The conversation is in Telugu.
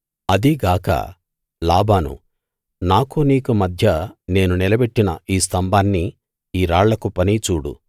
అదీ గాక లాబాను నాకూ నీకూ మధ్య నేను నిలబెట్టిన ఈ స్తంభాన్నీ ఈ రాళ్ళ కుప్పనీ చూడు